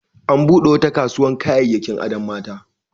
An buɗe wata kasuwar kayayyakin adon mata.